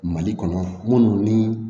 Mali kɔnɔ minnu ni